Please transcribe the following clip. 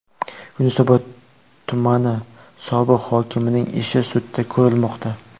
Yunusobod tumani sobiq hokimining ishi sudda ko‘rilmoqda .